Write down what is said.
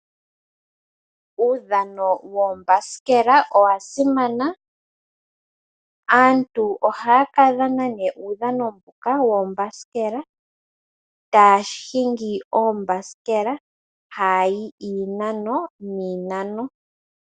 Uudhano woombasikela owa simana. Aantu ohaa ka dhana nee uudhano mboka woombasikela, taa hingi oombasikela, haa yi iinano niinano.